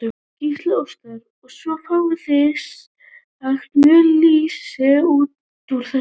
Gísli Óskarsson: Og svo fáið þið sem sagt mjöl og lýsi út úr þessu?